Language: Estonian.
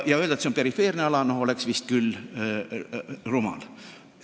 Ja öelda, et see on perifeerne ala, oleks vist küll rumal.